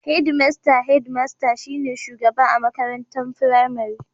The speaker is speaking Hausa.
Hedimasta (Headmaster) shi ne shugaba a makaranta firamari.